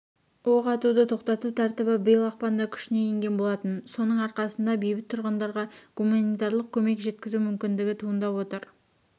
оқ атуды тоқтату тәртібі биыл ақпанда күшіне енген болатын соның арқасында бейбіт тұрғындарға гуманитарлық көмек жеткізу мүмкіндігі туындап отыр